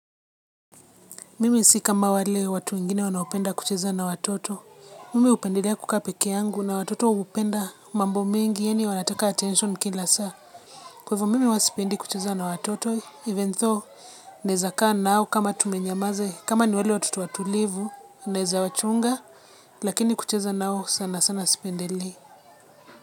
Mimi si kama wale watu wengine wanaopenda kucheza na watoto. Mimi hupendelea kukaa peke yangu na watoto hupenda mambo mingi yaani wanataka attention kila saa. Kwa hivo mimi huwa sipendi kucheza na watoto even though naeza kaa nao kama tumenyamaza kama ni wale watoto watulivu naeza wachunga lakini kucheza nao sana sana sipendelei.